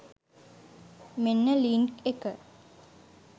මෙන්න ලින්ක් එක .